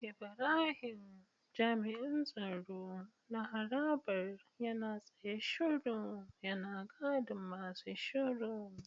Ibrahim jami'in tsaro na harabar yana tsaye shiru yana gadin masu shiru.